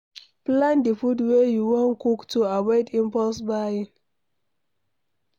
Plan di food wey you wan cook to avoid impulse buying